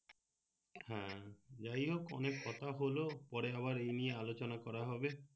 হ্যাঁ যাই হক অনেক কথা হলো পরে আমার এই নিয়ে আলোচানা করা হবে